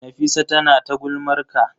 Nafisa tana ta gulmar ka.